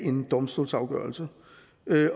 en domstolsafgørelse